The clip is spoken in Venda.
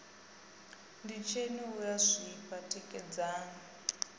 nditsheni u a zwifha tikedzani